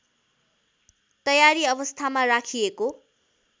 तयारी अवस्थामा राखिएको